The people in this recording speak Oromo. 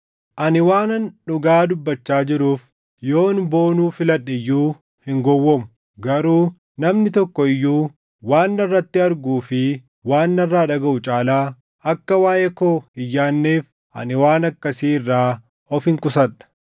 Ani waanan dhugaa dubbachaa jiruuf yoon boonuu filadhe iyyuu hin gowwoomu. Garuu namni tokko iyyuu waan narratti arguu fi waan narraa dhagaʼu caalaa akka waaʼee koo hin yaadneef ani waan akkasii irraa ofin qusadha;